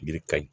Yiri ka ɲi